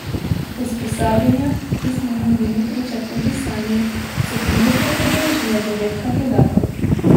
Usposabljanja, ki smo mu bili priča tudi sami, se trenutno udeležuje devet kandidatov.